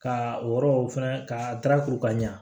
Ka o yɔrɔ fɛnɛ ka daraka ɲa